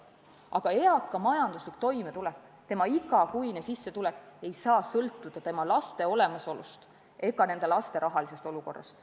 Aga eaka inimese majanduslik toimetulek, tema igakuine sissetulek ei tohi sõltuda laste olemasolust ega võimalike laste rahalisest olukorrast.